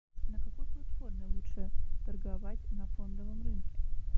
на какой платформе лучше торговать на фондовом рынке